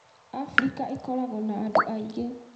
Afrika ĩkoragwo na andũ aingĩ.